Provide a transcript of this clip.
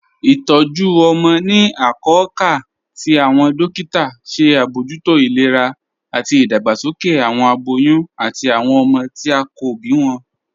Itọju ọmọ ni akọọ̀kà tí awọn dòkìtà ṣe abojútó ilẹ̀rà ati idàgbàsókè awọn abòyún ati awọn ọmọ tí a kò bí wọn.